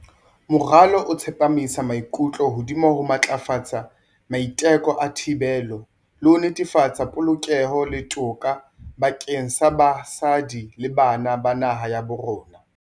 Moralo o tsepamisa maikutlo hodima ho matlafatsa maiteko a thibelo, le ho netefatsa polokeho le toka bakeng sa basadi le bana ba naha ya bo rona.